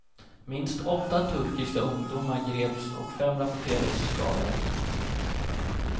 Minst åtta turkiska ungdomar greps och fem rapporterades skadade.